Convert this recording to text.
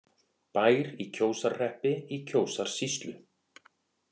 Bær í Kjósarhreppi í Kjósarsýslu.